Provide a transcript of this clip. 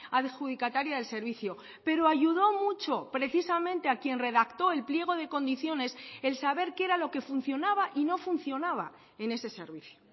adjudicataria del servicio pero ayudó mucho precisamente a quien redactó el pliego de condiciones el saber qué era lo que funcionaba y no funcionaba en ese servicio